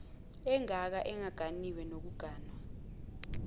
ongaka engaganiwe nokuganwa